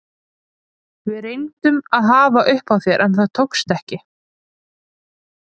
Við reyndum að hafa upp á þér en það tókst ekki.